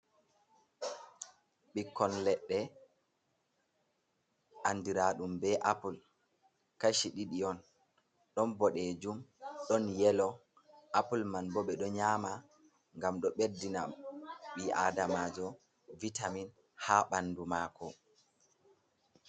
Ɓikkon leɗɗe andira ɗum ɓe apple, kashi ɗiɗi on ɗon boɗejum ɗon yelo, apple man ɓo ɓe ɗo nyama ngam ɗo ɓeddina ɓii adamajo vitamin ha ɓandu mako.